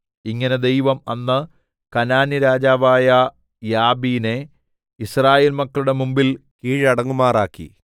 ഇങ്ങനെ ദൈവം അന്ന് കനാന്യരാജാവായ യാബീനെ യിസ്രായേൽ മക്കളുടെ മുമ്പിൽ കീഴടങ്ങുമാറാക്കി